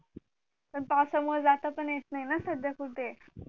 पण पावसामुळे जात पण येत नाही ना सद्द्या कुठे